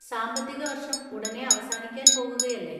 സാമ്പത്തിക വർഷം ഉടനേ അവസാനിക്കാൻ പോകുകയല്ലേ.